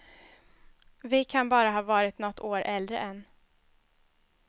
Vi kan bara ha varit nåt år äldre än.